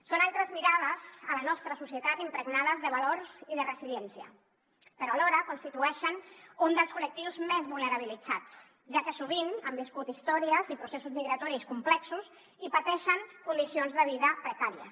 són altres mirades a la nostra societat impregnades de valors i de resiliència però alhora constitueixen un dels col·lectius més vulnerabilitzats ja que sovint han viscut històries i processos migratoris complexos i pateixen condicions de vida precàries